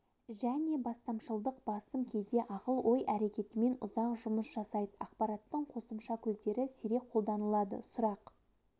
және бастамашылдық басым кейде ақыл-ой әрекетімен ұзақ жұмыс жасайд ақпараттың қосымша көздері сирек қолданылады сұрақ